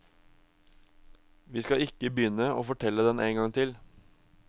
Vi skal ikke begynne å fortelle den en gang til.